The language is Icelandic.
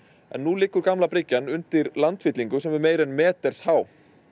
nú liggur gamla bryggjan undir landfyllingu sem er meira en meters há